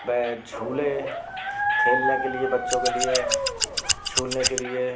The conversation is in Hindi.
झूले खेलने के लिए बच्चों के लिए झूलने के लिए।